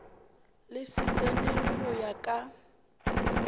le tsenelwe go ya ka